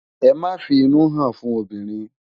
Emá fi inú hán fún óbirin